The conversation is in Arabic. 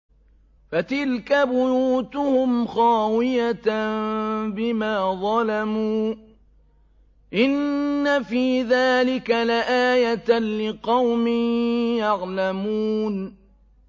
فَتِلْكَ بُيُوتُهُمْ خَاوِيَةً بِمَا ظَلَمُوا ۗ إِنَّ فِي ذَٰلِكَ لَآيَةً لِّقَوْمٍ يَعْلَمُونَ